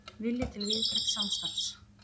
Vilji til víðtæks samstarfs